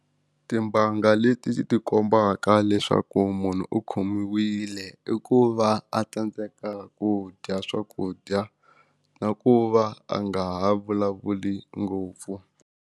Timbanga leti ti kombaka leswaku munhu u khomiwile i ku va a tsandzeka ku dya swakudya na ku va a nga ha vulavuli ngopfu.